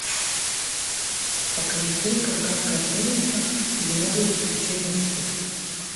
покажи фильм кавказская пленница или новые приключения шурика